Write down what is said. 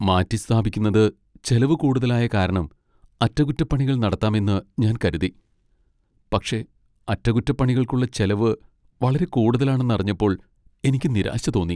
മാറ്റിസ്ഥാപിക്കുന്നത് ചിലവു കൂടുതലായ കാരണം അറ്റകുറ്റപ്പണികൾ നടത്താമെന്ന് ഞാൻ കരുതി, പക്ഷേ അറ്റകുറ്റപ്പണികൾക്കുള്ള ചെലവ് വളരെ കൂടുതലാണെന്ന് അറിഞ്ഞപ്പോൾ എനിക്ക് നിരാശ തോന്നി.